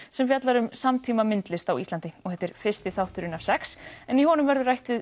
sem fjallar um samtímamyndlist á Íslandi og þetta er fyrsti þátturinn af sex en í honum verður rætt við